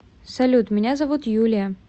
салют меня зовут юлия